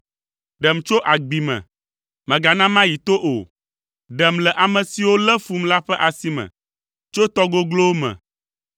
Ɖem tso agbi me, mègana mayi to o, ɖem le ame siwo lé fum la ƒe asi me, tso tɔ goglowo me.